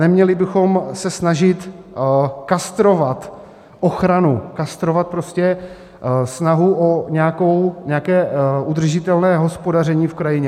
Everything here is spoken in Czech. Neměli bychom se snažit kastrovat ochranu, kastrovat prostě snahu o nějaké udržitelné hospodaření v krajině.